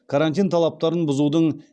карантин талаптарын бұзудың